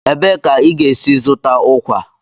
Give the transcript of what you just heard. Ebee ka ị ga-esi zụta ụkwa?